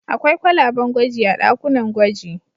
Akwai kwalaben gwaji a ɗakunan gwaji.